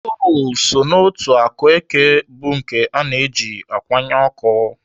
Kol so n'otu akụ eke bụ nke ana eji akwanye ọkụ.